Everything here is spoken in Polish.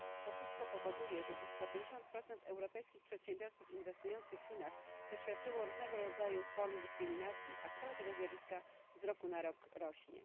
To wszystko powoduje, że blisko 50 europejskich przedsiębiorców inwestujących w Chinach doświadczyło różnego rodzaju dyskryminacji, a skala tego zjawiska z roku na rok rośnie.